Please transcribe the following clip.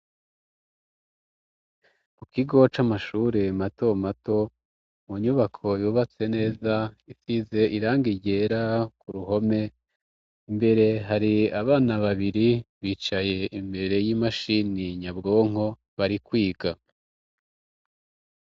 Ku kigo ca amashure mato mato mu nyubako yubatse neza ifize iranga igera ku ruhome imbere hari abana babiri bicaye imbere y'imashini nyabwonko bari kwiga.